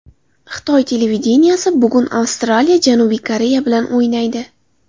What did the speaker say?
Xitoy televideniyesi: Bugun Avstraliya Janubiy Koreya bilan o‘ynaydi.